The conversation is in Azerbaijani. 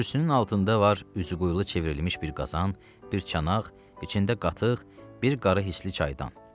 Kürsünün altında var üzü qoyulu çevrilmiş bir qazan, bir çanaq, içində qatıq, bir qarı hisli çaydan.